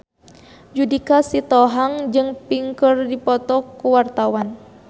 Judika Sitohang jeung Pink keur dipoto ku wartawan